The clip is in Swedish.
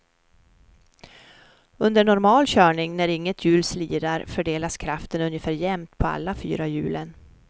Under normal körning när inget hjul slirar fördelas kraften ungefär jämnt på alla fyra hjulen.